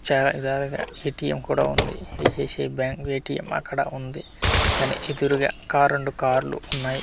చాయ్ తగా ఎ_టి_ఏం కూడా ఉంది ఐ_సి_ఐ_సి_ఐ బ్యాంక్ ఎ_టి_ఏం అక్కడ ఉంది దాని ఎదురుగా కార్లు రెండు కార్లు ఉన్నాయి కార్ .